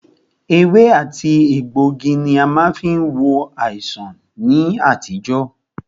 Ewé àti egbògi ní a má fí ń wo àìsàn ní àtijọ́.